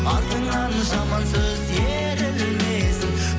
артыңнан жаман сөз ерілмесін